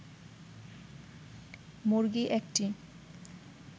মুরগি ১টি